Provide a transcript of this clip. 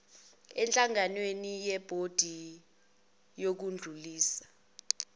emhlanganweni webhodi yokudlulisa